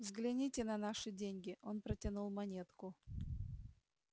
взгляните на наши деньги он протянул монетку